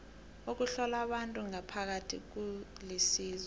ukuhlola abantu ngaphakathi kulisizo